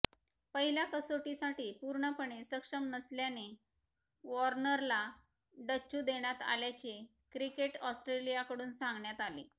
पहिल्या कसोटीसाठी पूर्णपणे सक्षम नसल्याने वॉर्नरला डच्चू देण्यात आल्याचे क्रिकेट ऑस्ट्रेलियाकडून सांगण्यात आले